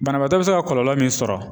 Banabaatɔ bi se ka kɔlɔlɔ min sɔrɔ.